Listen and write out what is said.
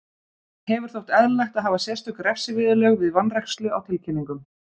Hefur þótt eðlilegt að hafa sérstök refsiviðurlög við vanrækslu á tilkynningum.